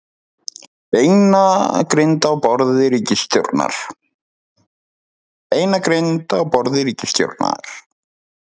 Beinagrind á borði ríkisstjórnar